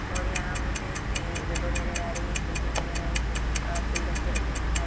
और रहाँ मुझे विंडो नजर आ रही है खिड़कियां नजर आ रही है खिड़कियां के पास गुलदस्ते रखे हुए दिखाई दे--